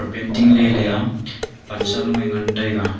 painting lele a pansa low a ngan tega.